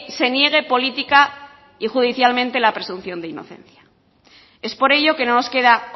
se niegue política y judicialmente la presunción de inocencia es por ello que no nos queda